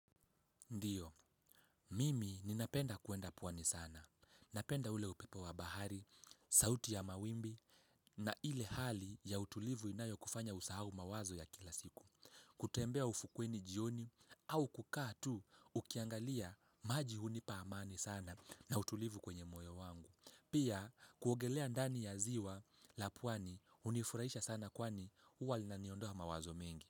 Ndiyo, mimi ninapenda kuenda pwani sana. Napenda ule upepo wa bahari, sauti ya mawimbi na ile hali ya utulivu inayo kufanya usahau mawazo ya kila siku. Kutembea ufukweni jioni au kukaa tu ukiangalia maji hunipa amani sana na utulivu kwenye moyo wangu. Pia kuogelea ndani ya ziwa la pwani hunifurahisha sana kwani huwa linaniondoa mawazo mengi.